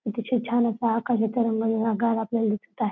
इथे छ छान असा आकाशी तरंगलेला गाव आपल्याला दिसत आहे.